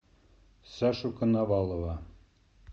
сашу коновалова